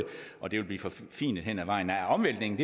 og det vil blive forfinet hen ad vejen nej omvæltningen